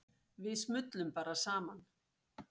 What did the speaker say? Við smullum bara saman.